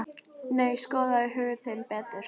Nei, skoðaðu hug þinn betur.